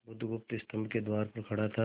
बुधगुप्त स्तंभ के द्वार पर खड़ा था